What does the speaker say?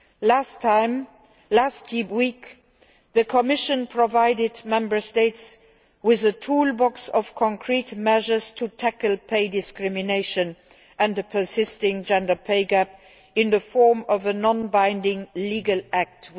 Last week, the Commission provided Member States with a toolbox of concrete measures to tackle pay discrimination and the persisting gender pay gap in the form of a non binding legal act.